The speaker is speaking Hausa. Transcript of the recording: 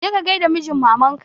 Je ka gai da mijin maman ka!